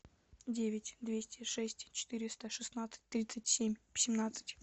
девять двести шесть четыреста шестнадцать тридцать семь семнадцать